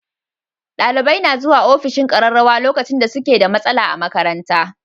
Dalibai suna zuwa ofishin ƙararrawa lokacin da suke da matsala a makaranta.